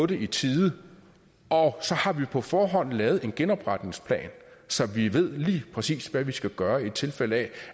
det i tide og så har vi på forhånd lavet en genopretningsplan så vi lige præcis ved hvad vi skal gøre i tilfælde af